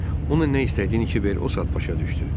Onun nə istədiyini Kiber o saat başa düşdü.